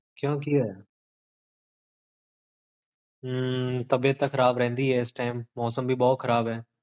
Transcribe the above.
ਕਿਓਂ ਕੀ ਹੋਇਆ ਹੈ? ਖਾਂਸੀ ਜੁਖਾਮ ਹੋਇਆ ਹੋਇਆ ਹ੍ਮ੍ਮ ਤਬੀਅਤ ਤਾਂ ਖਰਾਬ ਰਹੰਦੀ ਆ ਮੌਸਮ ਵੀ ਬੋਹੋਤ ਖ਼ਰਾਬ ਹੈ